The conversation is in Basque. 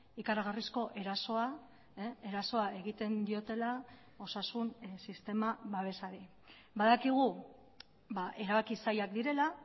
ikaragarrizko erasoa erasoa egiten diotela osasun sistema babesari badakigu erabaki zailak direla